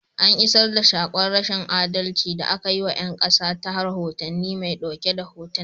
An iisar da saƙon rashin adalci da aka yi wa 'yan ƙasa ta rohotannin mai ɗauke da hotuna.